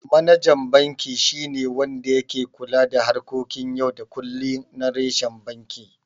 Manajan banki shi ne wanda yake kula da harkokin yau da kullum na reshen banki.